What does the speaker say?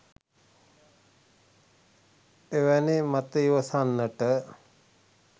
එවැනි මත ඉවසන්නට